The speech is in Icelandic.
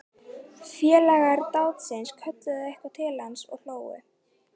Félagar dátans kölluðu eitthvað til hans og hlógu.